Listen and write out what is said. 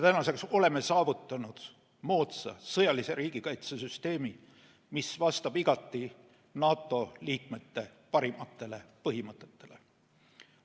Tänaseks oleme saavutanud moodsa sõjalise riigikaitsesüsteemi, mis vastab igati NATO liikmete parimatele põhimõtetele.